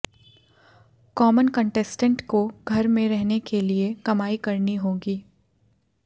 common contestant को घर में रहने के लिए कमाई करनी होगी